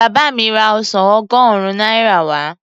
Bá mi ra ọsàn ọgọ́rùn-ún náírà wá.